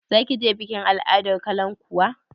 Za ki je bikin al'adar kalankuwa?